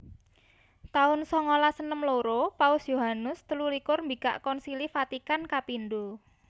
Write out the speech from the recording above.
taun songolas enem loro Paus Yohanes telu likur mbikak Konsili Vatikan kapindho